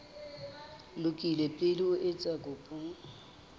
lokile pele o etsa kopo